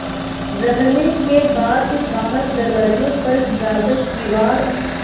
रहने के बाद बाहर दरवाजे पर जाकर किवाड़